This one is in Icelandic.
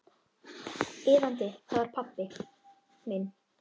Iðandi, það var pabbi minn.